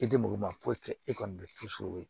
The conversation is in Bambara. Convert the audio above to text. E tɛ muru ma foyi kɛ e kɔni bɛ to sukoro